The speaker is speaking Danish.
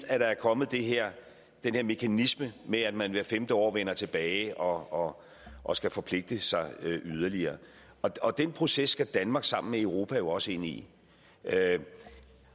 at der er kommet den her mekanisme med at man hvert femte år vender tilbage og og skal forpligte sig yderligere og den proces skal danmark sammen med europa jo også ind i